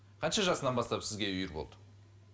қанша жасынан бастап сізге үйір болды